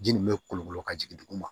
Ji nin bɛ kolokolo ka jigin duguma